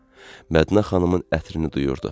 Mədinə xanımın ətrini duyurdu.